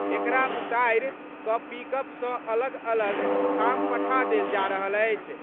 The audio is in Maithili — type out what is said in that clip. एकरा उतारि क' पिकअप सं अलग-अलग ठाम पठा देल जा रहल अछि।